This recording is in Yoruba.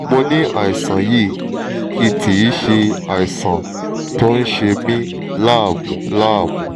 mo ní àìsàn yìí tí kì í ṣe àìsàn tó ń ṣe mí láàmú láàmú